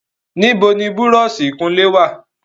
Níbo ni búrọ́ọ̀sì ìkunlé wà?